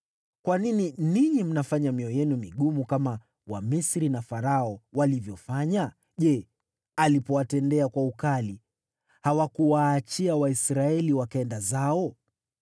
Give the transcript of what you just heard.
Kwa nini ninyi mnafanya mioyo yenu migumu kama Wamisri na Farao walivyofanya? Je, alipowatendea kwa ukali, hawakuwaachia Waisraeli wakaenda zao?